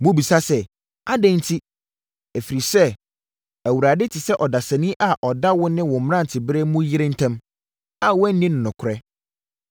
Mobisa sɛ, “Adɛn nti?” Ɛfiri sɛ Awurade te sɛ ɔdanseni a ɔda wo ne wo mmeranteberɛ mu yere ntam, a woanni no nokorɛ.